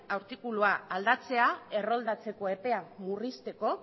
artikulua aldatzea erroldatzeko epea murrizteko